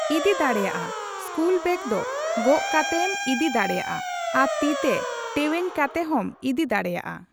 ᱤᱫᱤ ᱫᱟᱲᱮᱭᱟᱜᱼᱟ᱾ School bag ᱫᱚ ᱜᱚᱜ ᱠᱟᱛᱮ ᱮᱢ ᱤᱫᱤ ᱫᱟᱲᱮᱭᱟᱜᱼᱟ᱾ ᱟᱨ ᱛᱤᱛᱮ ᱴᱮᱣᱧ ᱠᱟᱛᱮ ᱦᱚᱸᱢ ᱤᱫᱤ ᱫᱟᱲᱮᱭᱟᱜᱼᱟ᱾